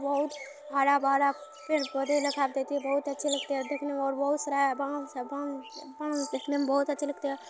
बहुत हरा भरा पेड़ पौधे लखात हे की बहोत अच्छे लगते है देखने में और बहोत सारा बास है बांस बांस बांस देखने में बहुत अच्छे लगते है।